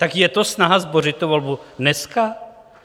Tak je to snaha zbořit tu volbu dneska?